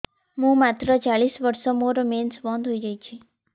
ମୁଁ ମାତ୍ର ଚାଳିଶ ବର୍ଷ ମୋର ମେନ୍ସ ବନ୍ଦ ହେଇଯାଇଛି